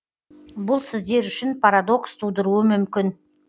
бұл сіздер үшін парадокс тудыруы мүмкін